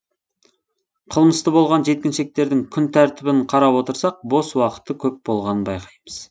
қылмысты болған жеткіншектердің күнтәртібін қарап отырсақ бос уақыты көп болғанын байқаймыз